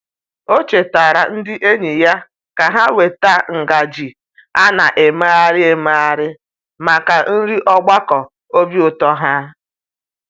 O chetaara ndị enyi ya ka ha weta ngaji a na-emegharị emegharị maka nri ogbakọ obi ụtọ ha.